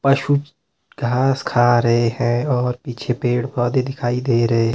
पशु घास खा रहे हैं और पीछे पेड़-पौधे दिखाई दे रहे हैं।